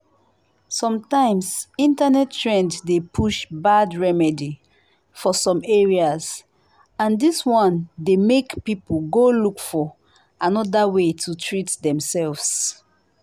sometimes internet trend dey push bad remedy for some areas and this one dey make people go look for another way to treat demself.